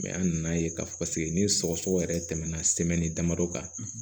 an nan'a ye k'a fɔ paseke ni sɔgɔsɔgɔ yɛrɛ tɛmɛna damadɔ kan